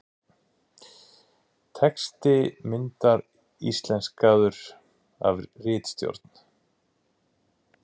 texti myndar íslenskaður af ritstjórn